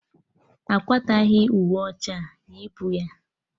Akwataghi uwe ọcha a, yipu ya!